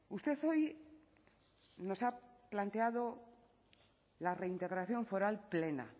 usted hoy nos ha planteado la reintegración foral plena